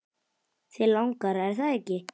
Þig langar, er það ekki?